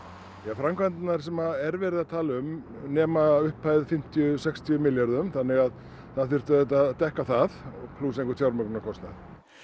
framkvæmdirnar sem er verið að tala um nema fimmtíu til sextíu milljörðum þannig að það þyrfti að dekka það plús einhvern fjármögnunarkostnað